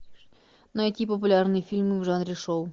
найти популярные фильмы в жанре шоу